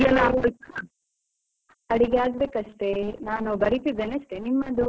ಅಡಿಗೆ ಆಗಬೇಕಷ್ಟೇ, ನಾನು ಬರಿತಿದ್ದೇನೆ ಅಷ್ಟೇ, ನಿಮ್ಮದು ಅಡಿಗೆ ಎಲ್ಲ ಆಯ್ತಾ?